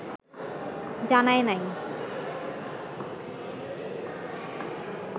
জানায় নাই